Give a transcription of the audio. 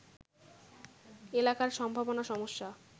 এলাকার সম্ভাবনা-সমস্যা